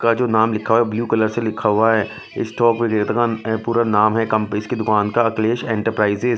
का जो नाम लिखा हुआ है ब्लू कलर से लिखा हुआ है स्टॉक का पूरा नाम है कंपनी इसकी दुकान का अखिलेश एंटरप्राइजेस .